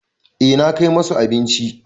Eh na kai musu abincin.